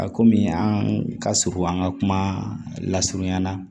A komi an ka surun an ka kuma lasurunya la